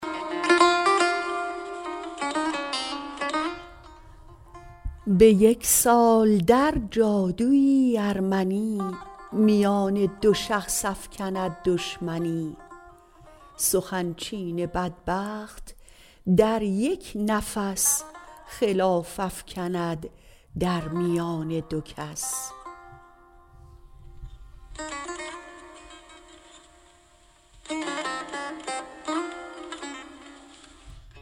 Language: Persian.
به یک سال در جادویی ارمنی میان دو شخص افکند دشمنی سخن چین بدبخت در یک نفس خلاف افکند در میان دو کس